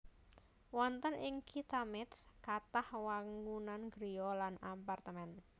Wonten ing Kitha Métz kathah wangunan griya lan apartemén